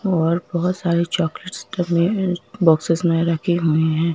और बहुत सारी चॉकलेट टमए बॉक्सेस में रखी हुई है।